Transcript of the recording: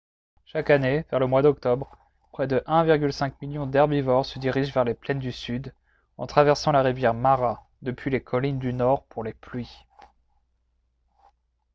chaque année vers le mois d'octobre près de 1,5 million d'herbivores se dirigent vers les plaines du sud en traversant la rivière mara depuis les collines du nord pour les pluies